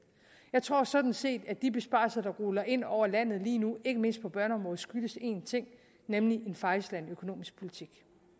jeg tror sådan set at de besparelser der ruller ind over landet lige nu ikke mindst på børneområdet skyldes én ting nemlig en fejlslagen økonomisk politik